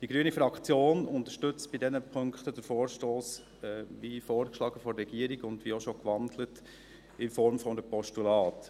Die grüne Fraktion unterstützt den Vorstoss bei diesen Punkten – wie von der Regierung vorgeschlagen und wie auch schon gewandelt – in der Form eines Postulats.